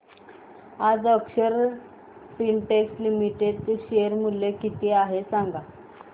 आज Akshar Spintex limited चे share मूल्य किती आहे सांगा